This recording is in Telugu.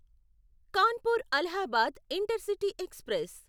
Kanpur Allahabad intercity express